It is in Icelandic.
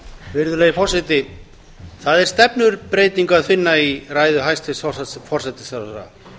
virðulegi forseti það er stefnubreytingu að finna í ræðu hæstvirts forsætisráðherra